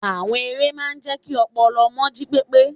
Àwọn eré máa ń jẹ́ kí ọpọlọ ọmọ jí pépé.